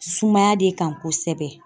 Sumaya de kan kosɛbɛ